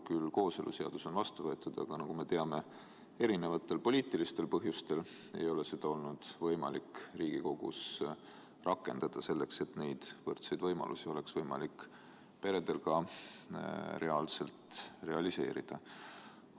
Kooseluseadus on küll vastu võetud, aga nagu me teame, erinevatel poliitilistel põhjustel ei ole seda olnud võimalik Riigikogus rakendada, nii et neid võrdseid võimalusi oleks võimalik peredel ka reaalselt realiseerida.